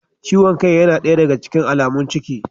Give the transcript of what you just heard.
Ciwon kai yana daya daga cikin alamun ciki